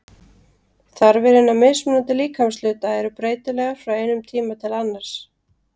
Þarfir hinna mismunandi líkamshluta eru breytilegar frá einum tíma til annars.